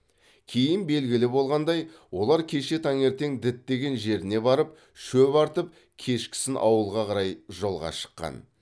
кейін белгілі болғандай олар кеше таңертең діттеген жеріне барып шөп артып кешкісін ауылға қарай жолға шыққан